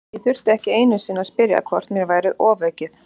Ég þurfti ekki einu sinni að spyrja hvort mér væri ofaukið.